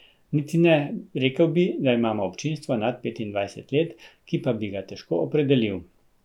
Niti ne, rekel bi, da imamo občinstvo nad petindvajset let, ki pa bi ga težko opredelil.